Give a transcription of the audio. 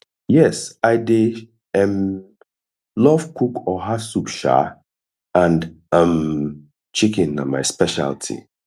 yes i dey um love cook oha soup um and um chicken na my specialty